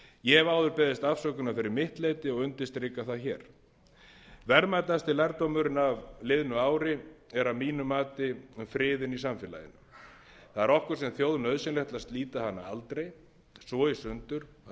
ég hef áður beðist afsökunar fyrir mitt leyti og undirstrika það hér verðmætasti lærdómurinn af liðnu ári er að mínu mati friðurinn í samfélaginu það er okkur sem þjóð nauðsynlegt að slita hann aldrei svo í sundur að